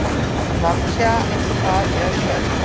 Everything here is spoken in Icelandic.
Natasja, hvað er jörðin stór?